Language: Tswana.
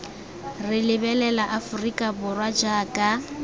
re lebelela aforika borwa jaaka